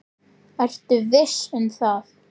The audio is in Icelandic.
Ertu viss um það?